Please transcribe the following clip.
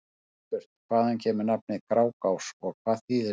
Einnig var spurt: Hvaðan kemur nafnið Grágás og hvað þýðir það?